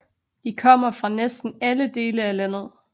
De kommer fra næsten alle dele af landet